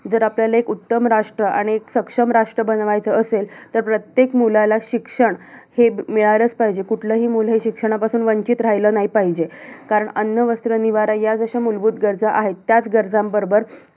जर आपल्याला एक उत्तम राष्ट्र आणि एक सक्षम राष्ट्र बनवायचं असेल, तर प्रत्येक मुलाला शिक्षण हे मिळालंच पाहिजे. कुठलंही मुल हे शिक्षणापासून वंचित राहिलं नाही पाहिजे. कारण अन्न, वस्त्र, निवारा या जशा मुलभूत गरजा आहेत, त्याच गरजांबरोबर